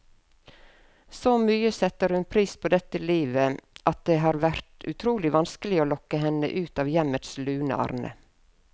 Så mye setter hun pris på dette livet, at det har vært utrolig vanskelig å lokke henne ut av hjemmets lune arne.